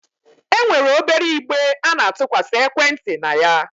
E nwere obere igbe a na-atụkwasị ekwenti na ya.